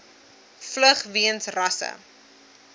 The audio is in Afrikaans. vlug weens rasse